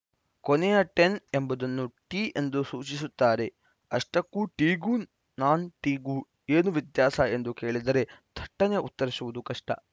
ಕೊನೆಯ ಟೆನ್‌ ಎಂಬುದನ್ನು ಟಿ ಎಂದು ಸೂಚಿಸುತ್ತಾರೆ ಅಷ್ಟಕ್ಕೂ ಟಿಗೂ ನಾನ್‌ ಟಿಗೂ ಏನು ವ್ಯತ್ಯಾಸ ಎಂದು ಕೇಳಿದರೆ ಥಟ್ಟನೆ ಉತ್ತರಿಸುವುದು ಕಷ್ಟ